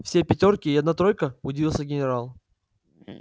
все пятёрки и одна тройка удивился генерал